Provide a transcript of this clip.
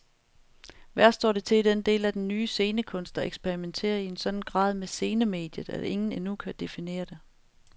Værst står det til i den del af den nye scenekunst, der eksperimenterer i en sådan grad med scenemediet, at ingen endnu kan definere den.